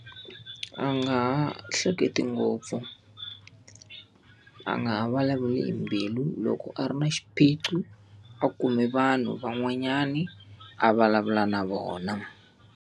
A nga ha hleketi ngopfu, a nga ha vulavuli hi mbilu. Loko a ri na xiphiqo a kume vanhu van'wanyani a vulavula na vona.